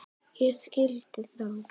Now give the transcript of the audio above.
Ég skildi þá.